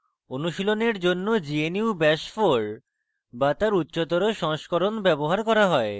অনুশীলনের জন্য gnu bash 4 bash তার উচ্চতর সংস্করণ ব্যবহার করা হয়